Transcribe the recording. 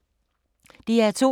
DR2